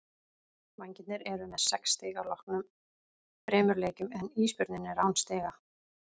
Vængirnir eru með sex stig að loknum þremur leikjum en Ísbjörninn er án stiga.